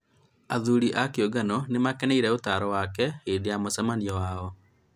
athuri a kĩũngano nĩ maakenire ũtaaro wake hĩndĩ ya mũcemanio ũcio